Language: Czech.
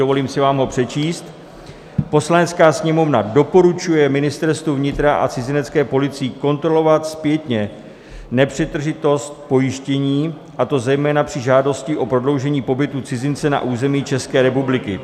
Dovolím si vám ho přečíst: "Poslanecká sněmovna doporučuje Ministerstvu vnitra a cizinecké policii kontrolovat zpětně nepřetržitost pojištění, a to zejména při žádosti o prodloužení pobytu cizince na území České republiky.